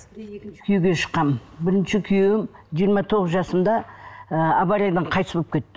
күйеуге шыққанмын бірінші күйеуім жиырма тоғыз жасымда ы авариядан қайтыс болып кетті